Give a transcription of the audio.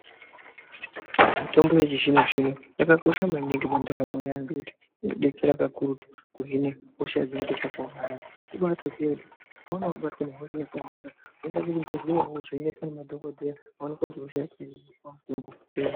Mitombo yechizvinozvino yakakosha maningi pandaramo yevanhu inodetsera kakurutu kuhina hosha dzinenge dzakaomarara, kubatoziya kuti ukaona wobatwa nehosha yakaomarara unoenda kuchibhedhlera wovhenekwa nemadhokodheya woonekwa kuti hosha yacho inokonzerwa nechirwere chei.